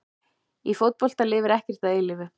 Í fótbolta lifir ekkert að eilífu.